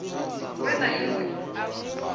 we na i ṅ we